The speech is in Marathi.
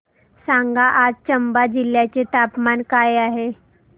सांगा आज चंबा जिल्ह्याचे तापमान काय आहे